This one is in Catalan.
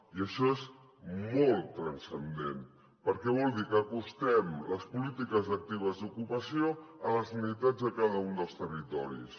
i això és molt transcendent perquè vol dir que acostem les polítiques actives d’ocupació a les necessitats de cada un dels territoris